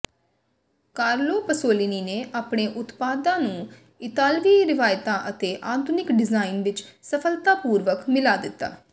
Carlo Pasolini ਨੇ ਆਪਣੇ ਉਤਪਾਦਾਂ ਨੂੰ ਇਤਾਲਵੀ ਰਵਾਇਤਾਂ ਅਤੇ ਆਧੁਨਿਕ ਡਿਜ਼ਾਈਨ ਵਿੱਚ ਸਫਲਤਾਪੂਰਵਕ ਮਿਲਾ ਦਿੱਤਾ